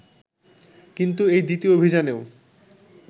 কিন্তু এই দ্বিতীয় অভিযানেও